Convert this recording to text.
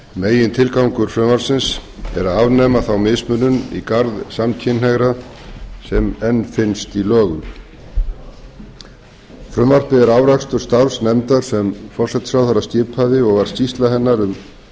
megintilgangur frumvarpsins er að afnema þá mismunun í garð samkynhneigðra sem enn finnst í lögum frumvarpið er afrakstur starfs nefndar sem forsætisráðherra skipaði og var skýrsla hennar um